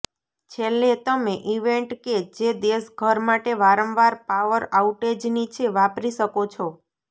છેલ્લે તમે ઇવેન્ટ કે જે દેશ ઘર માટે વારંવાર પાવર આઉટેજની છે વાપરી શકો છો